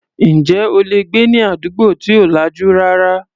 Ǹjẹ́ o lè gbé ní àdúgbò tí ò lajú rárá?